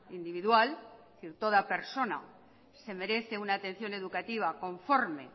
individual es decir toda persona se merece una atención educativa conforme